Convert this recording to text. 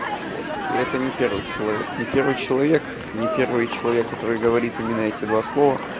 вот и это не первый человек не первый человек не первый человек который говорит именно эти два слова